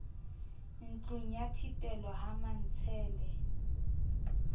ntlong ya thitelo ha mantshele